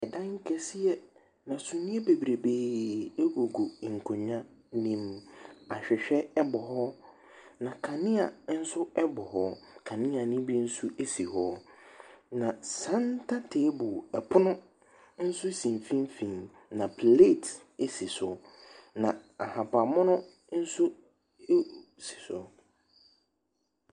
Dan kɛseɛ, na suneɛ bebrebee gugu nkonnwa ne mu. Ahwehwɛ bɔ hɔ. na Kanea nso bɔ hɔ. Kanea ne bi nso si hɔ. Na centre table pono nso si mfimfin, na plate nso si so. Na ahabanmono nso ɛ si so.